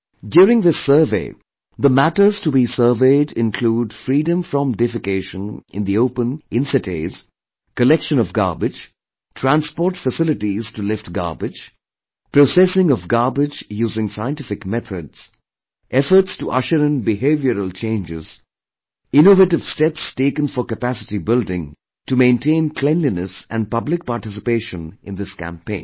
During this survey, the matters to be surveyed include freedom from defecation in the open in cities, collection of garbage, transport facilities to lift garbage, processing of garbage using scientific methods, efforts to usher in behavioural changes, innovative steps taken for capacity building to maintain cleanliness and public participation in this campaign